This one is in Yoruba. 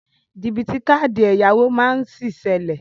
Jìbìtì káàdì ẹ̀yáwó má sí ṣẹlẹ.